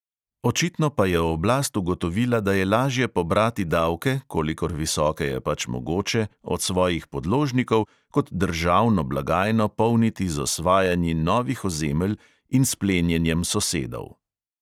Očitno pa je oblast ugotovila, da je lažje pobrati davke, kolikor visoke je pač mogoče, od svojih podložnikov kot državno blagajno polniti z osvajanji novih ozemelj in s plenjenjem sosedov.